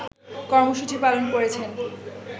কর্মসূচি পালন করেছেন